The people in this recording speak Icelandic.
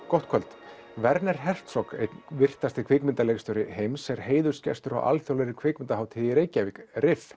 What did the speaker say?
gott kvöld werner Hertzog einn virtasti kvikmyndaleikstjóri heims er heiðursgestur á alþjóðlegri kvikmyndahátíð í Reykjavík